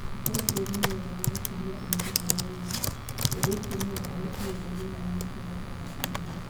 Angĩkorũo bũrũri nĩ wendaga gũkũria ũhoti harĩ raiya, Ũndũ ũcio nĩ wonanĩtio wega thĩinĩ wa mũtaratara wa gĩthomo.